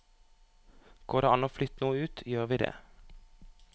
Går det an å flytte noe ut, gjør vi det.